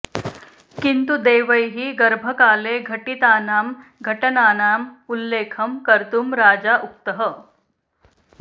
किन्तु देवैः गर्भकाले घटितानां घटनानाम् उल्लेखं कर्तुं राजा उक्तः